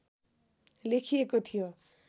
लेखिएको थियो